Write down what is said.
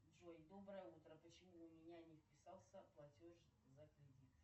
джой доброе утро почему у меня не списался платеж за кредит